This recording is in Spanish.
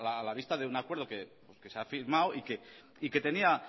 a la vista de un acuerdo que se ha firmado y que tenía